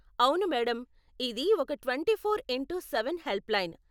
అవును మేడం, ఇది ఒక twenty four into seven helpline.